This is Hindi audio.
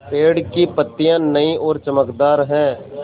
पेड़ की पतियां नई और चमकदार हैँ